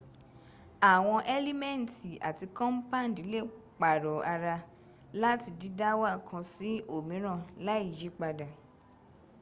àwọn elimenti ati compandi lè pàrọ̀ ara láti dídáwà kan sí òmíràn láì yípadà